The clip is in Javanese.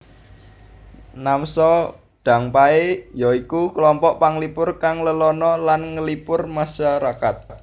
Namsadangpae ya iku klompok panglipur kang lelana lan nglipur masarakat